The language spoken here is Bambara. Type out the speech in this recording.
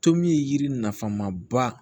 Tomi yiri nafama ba